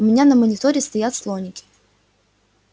у меня на мониторе стоят слоники